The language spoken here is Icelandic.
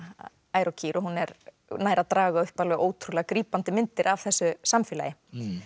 ær og kýr og hún nær að draga upp alveg ótrúlega grípandi myndir af þessu samfélagi